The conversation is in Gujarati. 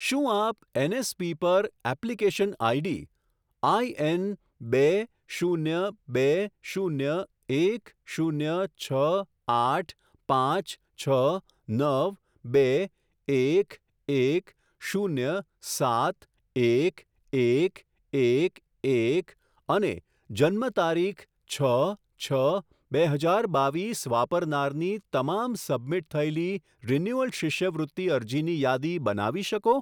શું આપ એનએસપી પર એપ્લિકેશન આઈડી આઈએન બે શૂન્ય બે શૂન્ય એક શૂન્ય છ આઠ પાંચ છ નવ બે એક એક શૂન્ય સાત એક એક એક એક અને જન્મતારીખ છ છ બે હજાર બાવીસ વાપરનારની તમામ સબમિટ થયેલી રિન્યુઅલ શિષ્યવૃત્તિ અરજીની યાદી બનાવી શકો?